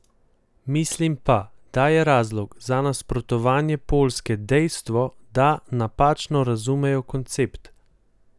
Mislim pa, da je razlog za nasprotovanja Poljske dejstvo, da napačno razumejo koncpet.